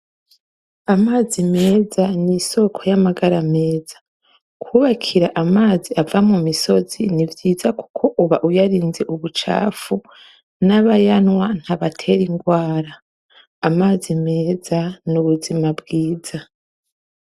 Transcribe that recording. Amazi meza n'isoko ry'amagara meza. Kubakira amazi ava mu misozi ni vyiza kuko uba uyarinze ubucafu n'abayanywa ntabatera ingwara. Amazi meza n'ubuzima bwiza.